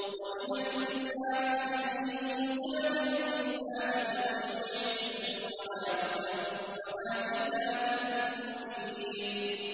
وَمِنَ النَّاسِ مَن يُجَادِلُ فِي اللَّهِ بِغَيْرِ عِلْمٍ وَلَا هُدًى وَلَا كِتَابٍ مُّنِيرٍ